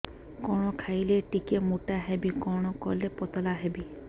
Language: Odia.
କଣ ଖାଇଲେ ଟିକେ ମୁଟା ହେବି କଣ କଲେ ପତଳା ହେବି